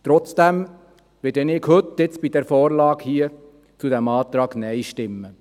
Trotzdem werde ich heute bei dieser Vorlage zu diesem Antrag Nein stimmen.